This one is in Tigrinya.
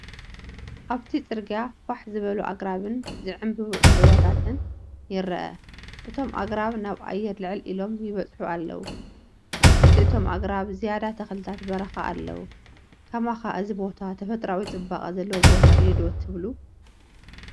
ኣብቲ ጽርግያ ፋሕ ዝበሉ ኣግራብን ዝዕምብቡ ዕምባባታትን ይርአ። እቶም ኣግራብ ናብ ኣየር ልዕል ኢሎም ይበጽሑ ኣለዉ። ኣብ ትሕቲ እቶም ኣግራብ ዝያዳ ተኽልታት በረኻ ኣለዉ። ከማኻ እዚ ቦታ ተፈጥሮኣዊ ጽባቐ ዘለዎ ቦታ እዩ ዶ ትብሉ?